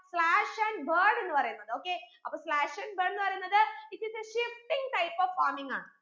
slash and burn എന്ന് പറയുന്നത് okay അപ്പൊ slash and burn ന്ന് പറയുന്നത് it is a shifting type of farming ആണ്